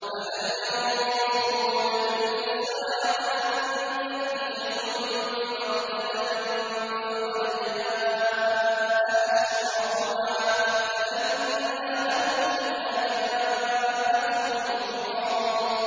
فَهَلْ يَنظُرُونَ إِلَّا السَّاعَةَ أَن تَأْتِيَهُم بَغْتَةً ۖ فَقَدْ جَاءَ أَشْرَاطُهَا ۚ فَأَنَّىٰ لَهُمْ إِذَا جَاءَتْهُمْ ذِكْرَاهُمْ